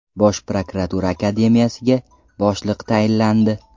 Bosh prokuratura akademiyasiga boshliq tayinlandi.